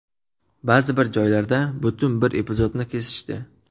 Ba’zi bir joylarda butun bir epizodni kesishdi.